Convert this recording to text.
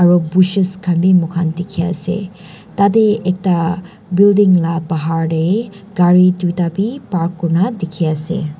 aro bushes khan bi moikhan dikhiase tatae ekta building la bahar tae gari tuita bi park kurina dikhiase.